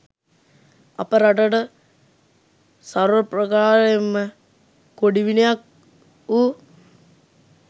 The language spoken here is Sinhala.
අප රටට සර්වප්‍රකාරයෙන්ම කොඩිවිනයක් වූ